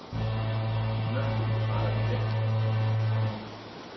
Nökkvi, hvað er að frétta?